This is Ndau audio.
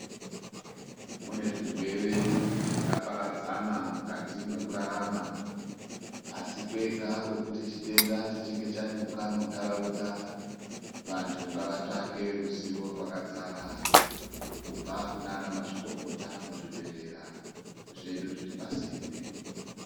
Munezvirwere zvakaparadzana mukati mwekurarama asi kwega kwekuti chitenda chechinge chanyuka muntaraunda, vanhtu ngavatsvake ruzivo rwakadzara kubva kunaana mazvikokota muzvibhedhlera zvedu zviri pasinde.